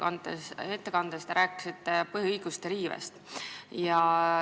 Oma ettekandes te rääkisite põhiõiguste riivest.